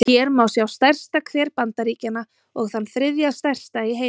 Hér má sjá stærsta hver Bandaríkjanna, og þann þriðja stærsta í heimi.